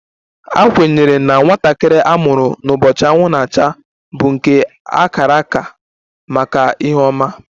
A kwenyere na nwatakịrị a mụrụ n'ụbọchị anwụ na-acha bụ nke a kara aka maka ihe ọma